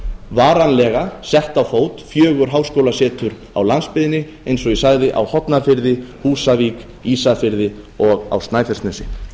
varanlega sett á fót fjögur háskólasetur á landsbyggðinni eins og ég sagði á hornafirði húsavík ísafirði og á snæfellsnesi